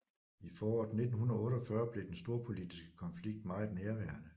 I foråret 1948 blev den storpolitiske konflikt meget nærværende